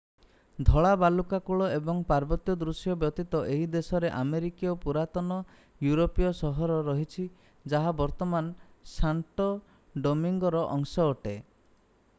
ଧଳା ବାଲୁକା କୂଳ ଏବଂ ପାର୍ବତ୍ୟ ଦୃଶ୍ୟ ବ୍ୟତୀତ ଏହି ଦେଶରେ ଆମେରିକାର ପୂରାତନ ୟୁରୋପୀୟ ସହର ରହିଛି ଯାହା ବର୍ତ୍ତମାନ ସାଣ୍ଟୋ ଡୋମିଙ୍ଗୋର ଅଂଶ ଅଟେ